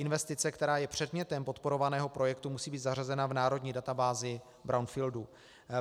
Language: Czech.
Investice, která je předmětem podporovaného projektu, musí být zařazena v národní databázi brownfieldů.